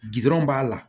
Gdɔrɔn b'a la